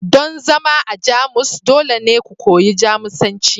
don zama a Jamus dole ne ku koyi Jamusanci